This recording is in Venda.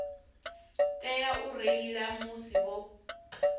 tea u reila musi vho